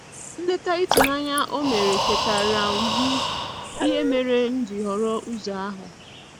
Nleta ịtụnanya o mere chetaara m ihe mere m ji họrọ ụzọ ahu.